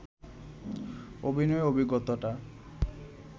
অভিনয়ের অভিজ্ঞতাটা